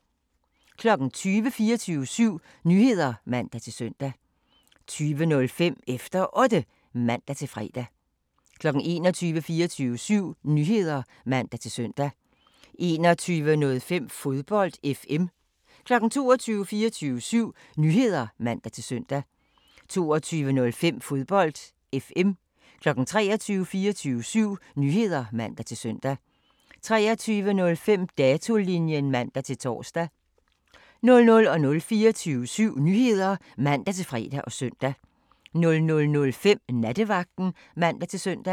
20:00: 24syv Nyheder (man-søn) 20:05: Efter Otte (man-fre) 21:00: 24syv Nyheder (man-søn) 21:05: Fodbold FM 22:00: 24syv Nyheder (man-søn) 22:05: Fodbold FM 23:00: 24syv Nyheder (man-søn) 23:05: Datolinjen (man-tor) 00:00: 24syv Nyheder (man-fre og søn) 00:05: Nattevagten (man-søn)